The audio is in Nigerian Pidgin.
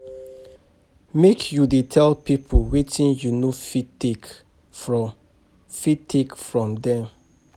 Make you dey tell pipo wetin you no fit take from fit take from dem.